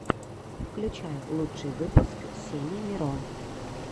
включай лучший выпуск сени миро